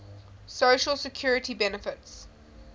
social security benefits